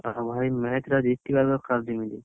ହଉ ଭାଇ match ଟା ଜିତିବା ଦରକାର ଯେମିତି।